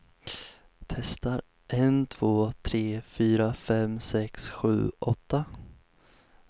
Testar en två tre fyra fem sex sju åtta.